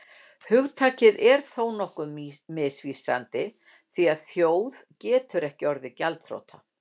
Hugtakið er þó nokkuð misvísandi því að þjóð getur ekki orðið gjaldþrota.